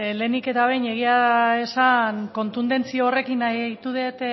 lehenik eta behin egia esan kontundentzi horrekin ahitu dut